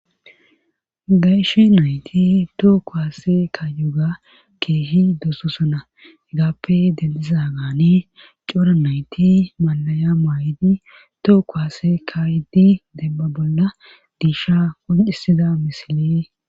Gashe nayti tooko haase kaayuuga keehi dososona egaappe denliza gaani cora nayti malaya maay7idi tooko haase kayidi debba bolla diisha qoncisida misile